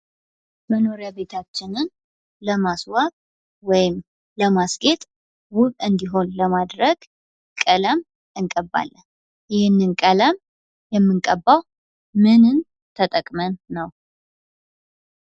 መኖሪያ ቤታችንን ለማስዋብ ወይም ለማስኬድ ውብ እንዲሆን ለማድረግ ቀለም እንቀባለን። ይህንን ቀለም የምንቀባው ምንን ተጠቅመን ነው?